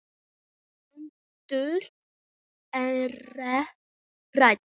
Hrund: Ekkert hrædd?